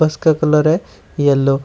इसका कलर है येलो ।